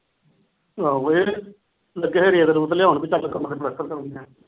ਆਹੋ ਇਹ ਲਗੇ ਸੀ ਰੇਤ ਰੁਤ ਲਿਆਓਣ ਵੀ ਚੱਲ ਕਮਰੇ ਦਾ ਪਲੱਸਤਰ ਤਾਂ ਹੋ ਹੀ ਜਾਣਗੇ।